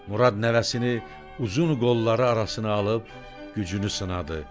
Murad nəvəsini uzun qolları arasına alıb gücünü sınadı.